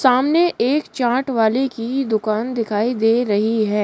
सामने एक चाट वाले की दुकान दिखाई दे रही है।